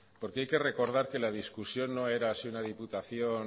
porque hay que recordar que la discusión no era si una diputación